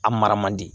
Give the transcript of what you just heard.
A mara man di